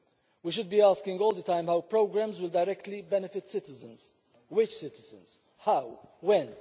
We should be asking all the time how programmes will directly benefit citizens which citizens, how, when?